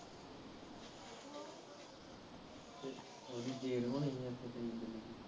ਥੋੜੀ ਦੇਰ ਬਾਦ